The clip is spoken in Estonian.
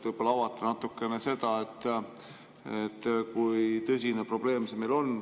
Võib-olla avate natukene seda, et kui tõsine probleem see meil on.